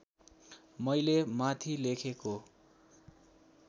मैले माथि लेखेको